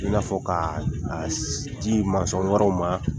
I n'a fɔ ka a di mansɔn wɛrɛw ma.